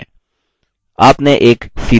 आपने एक सीधी line बना ली है